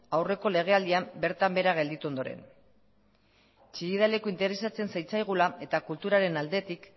aurreko legealdian bertan behera gelditu ondoren chillida leku interesatzen zitzaigula eta kulturaren aldetik